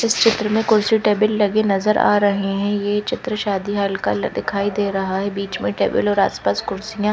इस चित्र में कुर्सी टेबल लगी नज़र आ रही हैं ये चित्र शादी हॉल का ल दिखाई दे रहा है बीच में टेबल और आसपास कुर्सियां--